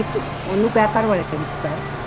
ਨੀ ਉਹਨੂੰ ਕਹਿ